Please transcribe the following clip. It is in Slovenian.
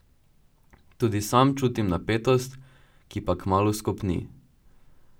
Tudi sam čutim napetost, ki pa kmalu skopni.